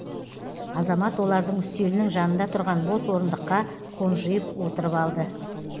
азамат олардың үстелінің жанында тұрған бос орындыққа қонжиып отырып алды